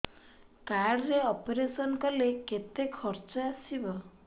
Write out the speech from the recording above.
card ରେ operation କଲେ କେତେ ଖର୍ଚ ଆସିବ